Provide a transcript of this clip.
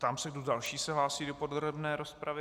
Ptám se, kdo další se hlásí do podrobné rozpravy.